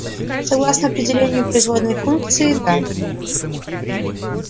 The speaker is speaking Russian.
согласно определению производной функции да